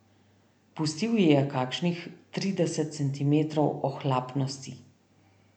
Pustil ji je kakšnih trideset centimetrov ohlapnosti.